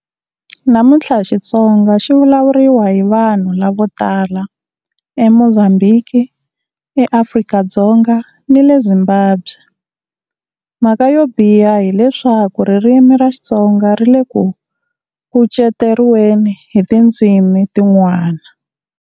Namuntlha Xitsonga xi vulavuriwa hi vanhu lavo tala eMozambiki, eAfrika-Dzonga ni le Zimbabwe. Mhaka yo biha hi leswaku ririmi ra Xitsonga ri le ku kuceteriweni hi tindzimi tin'wana.